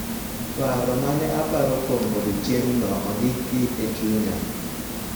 Paro ma ne aparo kuom odiechieng�no ondiki e chunya .